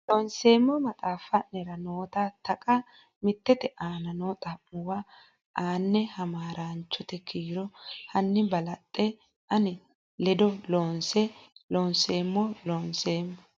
Loonseemmo maxaafi nera noota Taqa mittete aana noo xa muwa ane hamaaraanchote kiiro hanni balaxe ani ledo loonso Loonseemmo Loonseemmo.